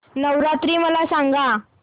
नवरात्री मला सांगा